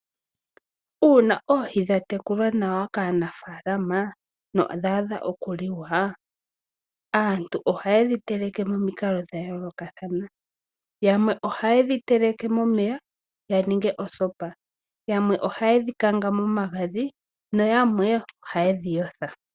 Uuna oohii dha tekulwa nawa kaanafalama no odhadha oku liwa aantu oha yedhi teleke nominkalo dhayoloka thana, yamwe oha yedhi teleke momeya yaninge osopa, yamwe oha yedhi kanga momagadhi noyamwe oha yedhiyotha.